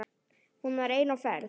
Hún var ein á ferð.